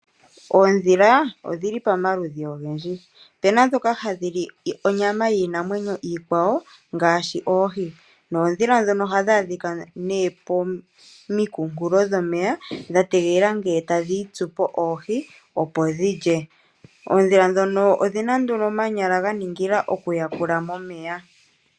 Oondhila odhili pomaludhi ogendji, opuna ndhoka ha dhili onyama yiinamwenyo iikwawo ngaashi oohi. Noondhila ndhono oha dhi adhika ne pominkunkulo dhomeya dha tegelela ngele ta dhi itsupo oohi opo dhi lye. Oondhila ndhono odhi na nduno omanyala ga ningila oku yakula momeya.